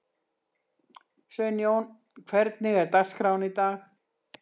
Sveinjón, hvernig er dagskráin í dag?